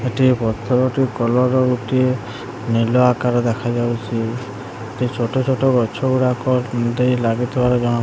ଏଠି ପଥର ଟି କଲର୍ ର ଗୋଟିଏ ନିଲ ଆକାର ଦେଖା ଯାଉଚି ଛୋଟ ଛୋଟ ଗଛ ଗୁଡାକ ଲାଗିଥିବାର ଜଣାପଡୁ --